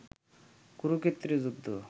কুরুক্ষেত্রের যুদ্ধ